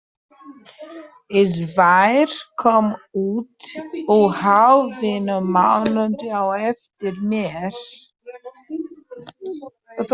Sævar kom út um hálfum mánuði á eftir mér.